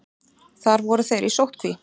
Þar voru þeir í sóttkví.